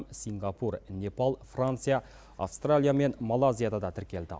сингапур непал франция аустралия мен малайзияда да тіркелді